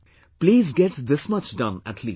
Please get this much done at least